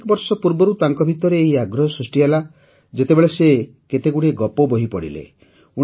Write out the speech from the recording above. ଅନେକ ବର୍ଷ ପୂର୍ବରୁ ତାଙ୍କ ଭିତରେ ଏହି ଆଗ୍ରହ ସୃଷ୍ଟି ହେଲା ଯେତେବେଳେ ସେ କେତେଗୁଡ଼ିଏ ଗପବହି ପଢ଼ିଲେ